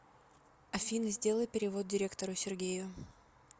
афина сделай перевод директору сергею